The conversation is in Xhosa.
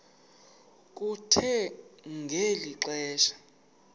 kuthe ngeli xesha